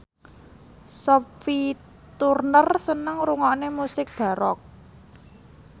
Sophie Turner seneng ngrungokne musik baroque